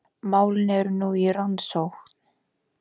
Málin eru nú í rannsókn